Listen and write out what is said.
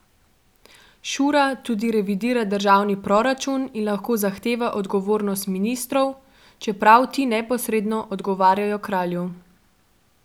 Šura tudi revidira državni proračun in lahko zahteva odgovornost ministrov, čeprav ti neposredno odgovarjajo kralju.